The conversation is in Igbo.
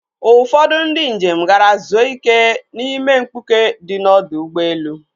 Ụfọdụ ndi njem gara zuo ike n'ime mkpuke di n'ọdọ ụgbọelu.